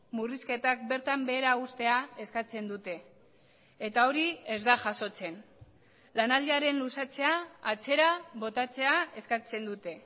murrizketak bertan behera uztea eskatzen dute eta hori ez da jasotzen lanaldiaren luzatzea atzera botatzea eskatzen dute